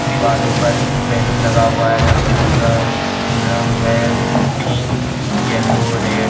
दिवालों पर बैलून लगा हुआ है रंग बिरंगा रंग है पिंक येलो रेड ।